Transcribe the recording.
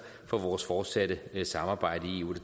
for vores fortsatte samarbejde i eu og